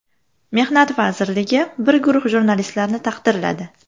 Mehnat vazirligi bir guruh jurnalistlarni taqdirladi.